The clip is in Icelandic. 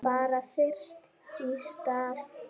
Bara fyrst í stað.